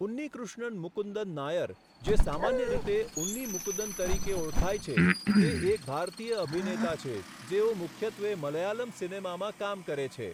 ઉન્નીકૃષ્ણન મુકુંદન નાયર, જે સામાન્ય રીતે ઉન્ની મુકુંદન તરીકે ઓળખાય છે, તે એક ભારતીય અભિનેતા છે જેઓ મુખ્યત્વે મલયાલમ સિનેમામાં કામ કરે છે.